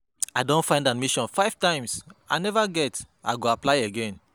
I don find admission five times and I neva get, I go apply again.